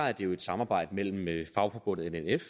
er det jo et samarbejde mellem fagforbundet nnf